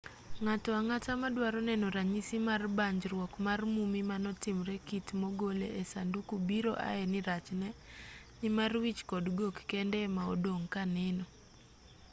ng'ato ang'ata maduaro neno ranyisi mar banjruok mar mummy manotimre kitmo gole e sanduku biro ae nirachne nimar wich kod gok kende emaodong' kaneno